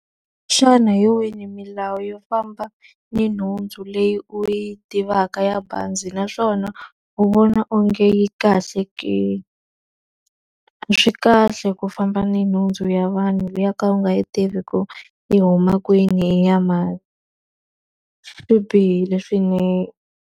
Xana hi yihi milawu yo famba ni nhundzu leyi u yi tivaka ya bazi naswona u vona onge yi kahle ke? A swi kahle ku famba ni nhundzu ya vanhu leyi yo ka u nga yi tivi ku yi huma kwini, i ya mani. Swi bihile swinene.